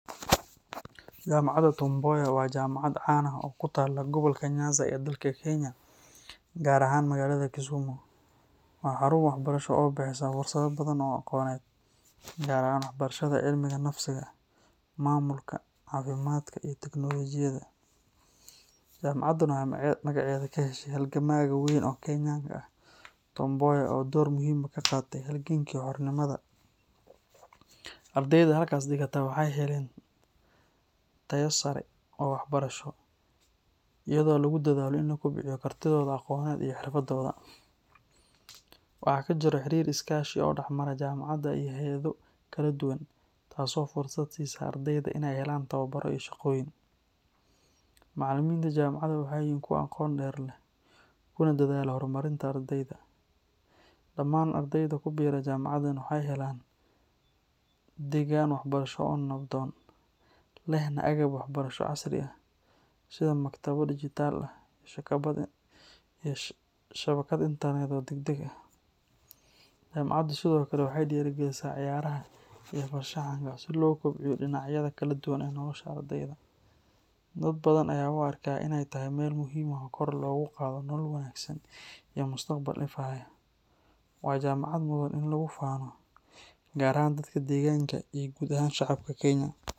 Jaamacadda Tom Mboya waa jaamacad caan ah oo ku taalla gobolka Nyanza ee dalka Kenya, gaar ahaan magaalada Kisumu. Waa xarun waxbarasho oo bixisa fursado badan oo aqooneed, gaar ahaan barashada cilmiga bulshada, maamulka, caafimaadka, iyo teknoolojiyadda. Jaamacaddan waxay magaceeda ka heshay halgamaa weyn oo Kenyan ah, Tom Mboya, oo door muhiim ah ka qaatay halgankii xornimada. Ardayda halkaas dhigata waxay heleen tayo sare oo waxbarasho, iyadoo lagu dadaalo in la kobciyo kartidooda aqooneed iyo xirfadahooda. Waxaa ka jiro xiriir iskaashi oo dhex mara jaamacadda iyo hay’ado kala duwan, taasoo fursad siisa ardayda inay helaan tababaro iyo shaqooyin. Macallimiinta jaamacadda waxay yihiin kuwo aqoon dheer leh, kuna dadaala horumarinta ardayda. Dhammaan ardayda ku biira jaamacaddan waxay helaan deegaan waxbarasho oo nabdoon, lehna agab waxbarasho casri ah sida maktabado dijitaal ah iyo shabakad internet oo degdeg ah. Jaamacaddu sidoo kale waxay dhiirrigelisaa ciyaaraha iyo farshaxanka si loo kobciyo dhinacyada kala duwan ee nolosha ardayda. Dad badan ayaa u arka inay tahay meel muhiim ah oo kor loogu qaado nolol wanaagsan iyo mustaqbal ifaya. Waa jaamacad mudan in lagu faano, gaar ahaan dadka deegaanka iyo guud ahaan shacabka Kenya.